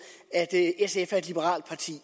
at sf er et liberalt parti